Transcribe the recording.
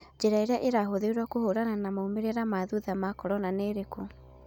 Njira iria irahũtherwo kũhũrana na maumerera ma thutha ma corona nĩirekũ